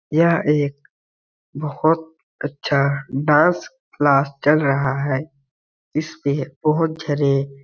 यह एक बहुत अच्छा डांस क्लास रहा है इसमें बहुत जने।